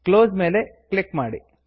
close close ಮೇಲೆ click ಮಾಡಿ